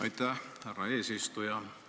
Aitäh, härra eesistuja!